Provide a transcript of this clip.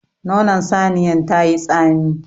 Nonon saniyan tayi tsami.